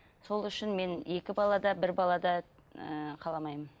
сол үшін мен екі бала да бір бала да ыыы қаламаймын